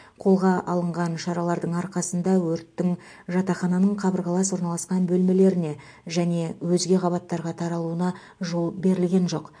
қолға алынған шаралардың арқасында өрттің жатақхананың қабырғалас орналасқан бөлмелеріне және өзге қабаттарға таралуына жол берілген жоқ